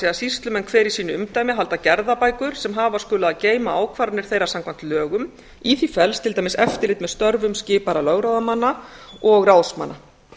er sýslumenn hver í sínu umdæmi halda gerðabækur sem hafa skulu að geyma ákvarðanir þeirra samkvæmt lögum í því felst til dæmis eftirlit með störfum skipaðra lögráðamanna og ráðsmanna